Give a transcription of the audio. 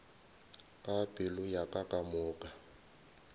ka pelo ya ka kamoka